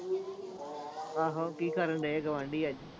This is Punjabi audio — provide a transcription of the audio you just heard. ਆਹੋ ਕੀ ਕਰਨ ਡੇ ਗੁਆਂਢੀ ਅੱਜ